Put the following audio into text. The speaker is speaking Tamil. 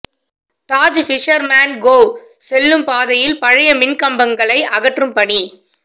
தாஜ் பிஷர்மேன் கோவ் செல்லும் பாதையில் பழைய மின்கம்பங்களை அகற்றும் பணி